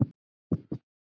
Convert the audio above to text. Safi úr einni sítrónu